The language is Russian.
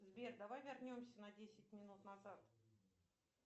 сбер давай вернемся на десять минут назад